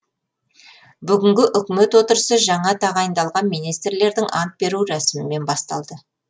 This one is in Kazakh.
бүгінгі үкімет отырысы жаңа тағайындалған министрлердің ант беру рәсімімен басталды